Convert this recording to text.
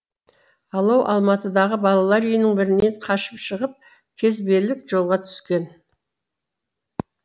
алау алматыдағы балалар үйінің бірінен қашып шығып кезбелік жолға түскен